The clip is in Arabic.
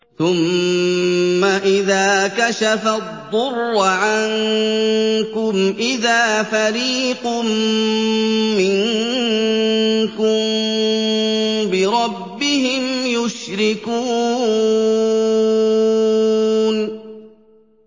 ثُمَّ إِذَا كَشَفَ الضُّرَّ عَنكُمْ إِذَا فَرِيقٌ مِّنكُم بِرَبِّهِمْ يُشْرِكُونَ